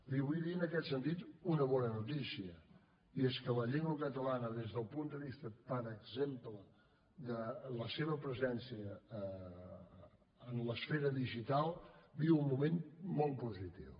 li vull dir en aquest sentit una bona notícia i és que la llengua catalana des del punt de vista per exemple de la seva presència en l’esfera digital viu un moment molt positiu